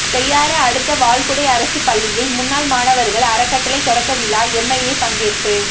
செய்யாறு அடுத்த வாழ்குடை அரசு பள்ளியில் முன்னாள் மாணவர்கள் அறக்கட்டளை தொடக்க விழா எம்எல்ஏ பங்கேற்பு